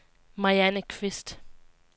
Marianne Qvist